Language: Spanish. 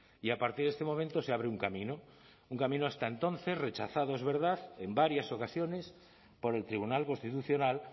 y a partir de este momento se abre un camino un camino hasta entonces rechazado es verdad en varias ocasiones por el tribunal constitucional